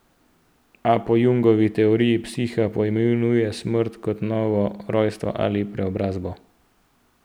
A po Jungovi teoriji psiha pojmuje smrt kot novo rojstvo ali preobrazbo.